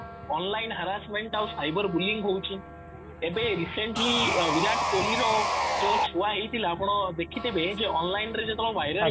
online harassment ଆଉ cyber bullying ହଉଚି ଏବେ recently ବିରାଟ କୋହଲି ର ଯୋଉ ଛୁଆ ହେଇଥିଲା ଆପଣ ଦେଖିଥିବେ ଯେ online ରେ ଯେତେ ବେଳେ ଭାଇରଲ